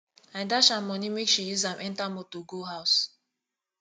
i dash am moni make she use am enter motor go house